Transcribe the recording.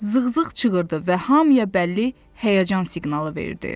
Zığzığ çığırdı və hamıya bəlli həyəcan siqnalı verdi.